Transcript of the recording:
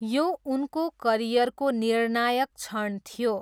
यो उनको करियरको निर्णायक क्षण थियो।